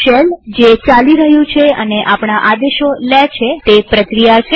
shell જે ચાલી રહ્યું છે અને આપણા આદેશો લે છે તે પ્રક્રિયા છે